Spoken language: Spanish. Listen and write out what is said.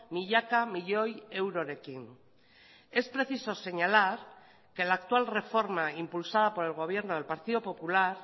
milaka milioi eurorekin es preciso señalar que la actual reforma impulsada por el gobierno del partido popular